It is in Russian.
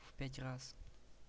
в пять раз